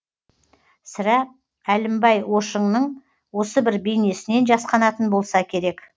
сірә әлімбай ошыңның осы бір бейнесінен жасқанатын болса керек